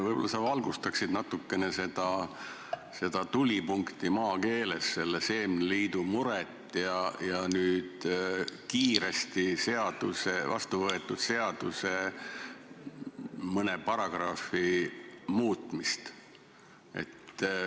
Võib-olla sa valgustaksid n-ö maakeeles natukene seda tulipunkti, seda seemneliidu muret ja nüüd kiiresti vastu võetud seaduse mõne paragrahvi muutmist.